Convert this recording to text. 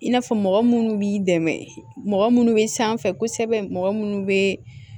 I n'a fɔ mɔgɔ munnu b'i dɛmɛ mɔgɔ minnu bɛ sanfɛ kosɛbɛ mɔgɔ minnu bɛ